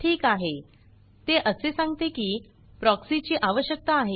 ठीक आहे ते असे सांगते की प्रॉक्सी ची आवश्यकता आहे